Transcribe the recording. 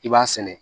I b'a sɛnɛ